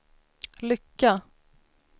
lycka